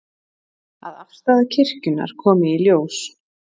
Að afstaða kirkjunnar komi í ljós